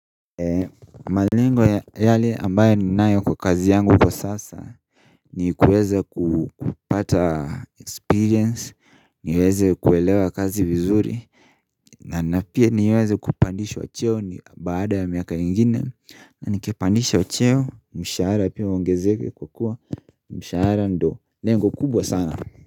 Malengo yale ambayo ninayo kwa kazi yangu kwa sasa ni kuweza kupata experience niweze kuelewa kazi vizuri na napia niweze kupandishwa cheo baada ya miaka ingine na nikipandishwa cheo mshahara pia uogezeke kwa kuwa mshahara ndio lengo kubwa sana.